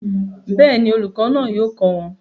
Bẹ́ẹ̀ni, olùkọ́ náà yóò kọ́ wọn